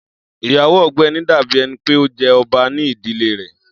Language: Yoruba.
Iyawo Ọgbẹni dabi ẹni pe o jẹ ọba ni idile rẹ.